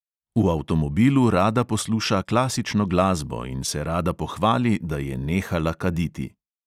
V avtomobilu rada posluša klasično glasbo in se rada pohvali, da je nehala kaditi.